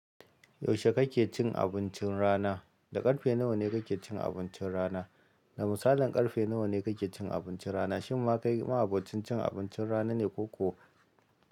Yaushe kake cin abincin rana? Da ƙarfe nawa ne kake cin abincin rana? Da musalin ƙarfe nawa ne kake cin abuncin rana? Shin ma kai ma'abocin cin abuncin rana ne ko ko?